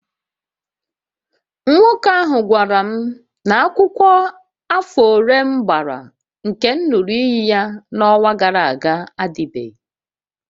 Nwoke ahụ gwara m na akwụkwọ afọ ole m gbara nke m ṅụrụ iyi ya n'ọnwa gara aga adịbeghị